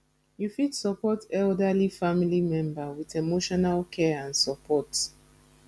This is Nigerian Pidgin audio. you fit support elderly family member with emotional care and support